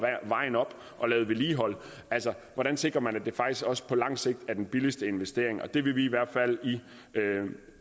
vejen op og lavet vedligeholdelse altså hvordan sikrer man at det faktisk også på lang sigt er den billigste investering vi vil i hvert fald